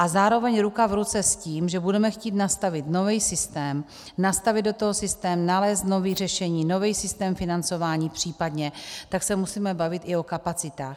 A zároveň ruku v ruce s tím, že budeme chtít nastavit nový systém, nastavit do toho systém, nalézt nové řešení, nový systém financování případně, tak se musíme bavit i o kapacitách.